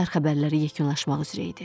Səhər xəbərləri yekunlaşmaq üzrə idi.